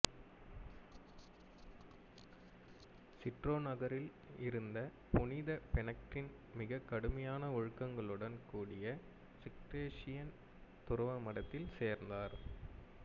Citeaux நகரில் இருந்த புனித பெனடிக்ட்டின் மிகக் கடுமையான ஒழுங்குகளுடன் கூடிய சிஸ்டேர்சியன் துறவு மடத்தில் சேர்ந்தார்